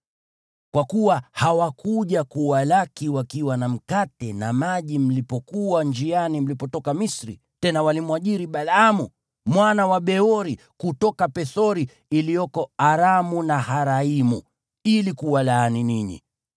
Kwa kuwa hawakuja kuwalaki wakiwa na mkate na maji mlipokuwa njiani mlipotoka Misri, tena walimwajiri Balaamu mwana wa Beori kutoka Pethori iliyoko Aramu-Naharaimu ili kuwalaani ninyi.